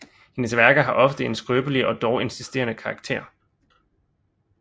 Hendes værker har ofte en skrøbelig og dog insisterende karaktér